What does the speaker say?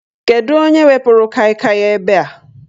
Kedụ onye wepuru Kai Kai a ebe a?